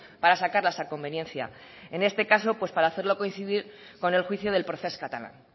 para sacarlas a conveniencia en este caso para hacerlo coincidir con el juicio del procés catalán